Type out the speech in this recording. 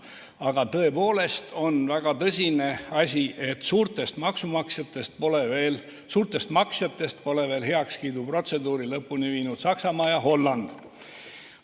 Aga tõepoolest on väga tõsine asi, et suurtest maksjatest pole heakskiiduprotseduuri lõpule viinud veel Saksamaa ja Holland.